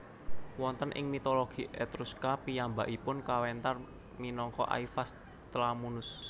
Wonten ing mitologi Etruska piyambakipun kawéntar minangka Aivas Tlamunus